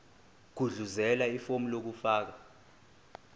gudluzela ifomu lokufaka